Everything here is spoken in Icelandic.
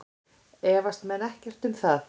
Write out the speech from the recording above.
Efast menn ekkert um það?